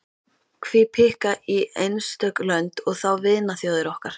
Hví pikka í einstök lönd, og þá vinaþjóðir okkar.